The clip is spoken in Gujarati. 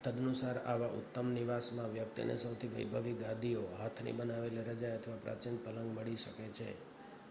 તદનુસાર આવા ઉત્તમ નિવાસમાં વ્યક્તિને સૌથી વૈભવી ગાદીઓ હાથની બનાવેલી રજાઈ અથવા પ્રાચીન પલંગ મળી શકે છે